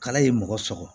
Kala ye mɔgɔ sɔgɔ